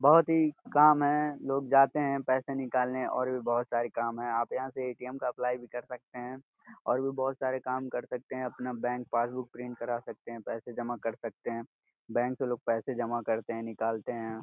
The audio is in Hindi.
बहुत ही काम है लोग जाते हैं पैसे निकालने और भी बहुत सारे काम है आप यहां से ए_टी_एम का अप्लाई भी कर सकते हैं और भी बहुत सारे काम कर सकते हैं अपना बैंक पासबुक प्रिंट करा सकते हैं पैसे जमा कर सकते हैं बैंक से लोग पैसे जमा करते हैं निकालते हैं।